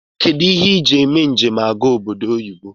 Kedu ihe iji eme njem aga oboddo oyibo?